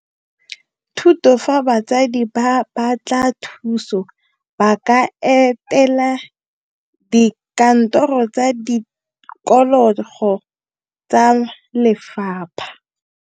THUTO fa batsadi ba batla thuso ba ka etela dikantoro tsa tikologo tsa lefapha.